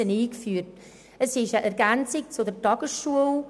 Es ist eine Ergänzung zur Tagesschule.